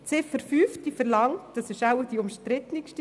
Die Ziffer 5 ist wohl am umstrittensten.